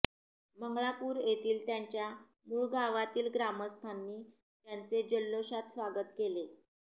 मंगळापुर येथील त्यांच्या मुळगावातील ग्रामस्थांनी त्याचे जल्लोषात स्वागत केले